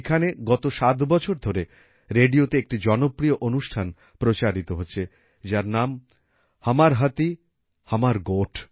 এইখানে গত ৭ বছর ধরে রেডিওতে একটি জনপ্রিয় অনুষ্ঠান প্রচারিত হচ্ছে যার নাম হমর হাতিহমর গোঠ